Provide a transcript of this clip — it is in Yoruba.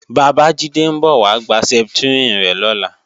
Bàbájídé ń bọ̀ wá gba Septrin rẹ̀ lọ́la